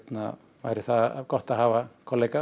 væri gott að hafa kollega